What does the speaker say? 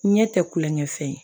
Ɲɛ tɛ kulonkɛ fɛn ye